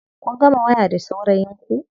Kun gama waya da saurayin ku?